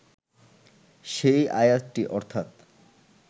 সেই আয়াতটি অর্থাৎ